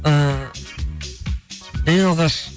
ііі ең алғаш